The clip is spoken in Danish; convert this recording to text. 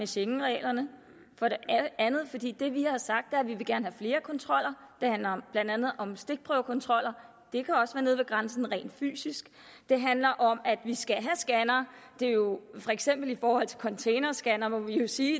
schengenreglerne og andet fordi det vi har sagt er at vi gerne vil have flere kontroller det handler blandt andet om stikprøvekontroller det kan også være nede ved grænsen rent fysisk det handler om at vi skal have scannere for eksempel i forhold til containerscannere må vi jo sige